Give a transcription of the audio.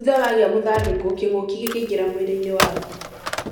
Thutha wagĩa mũthandũkũ, kĩngũkĩ gĩikaraga mwĩrĩ-inĩ waku.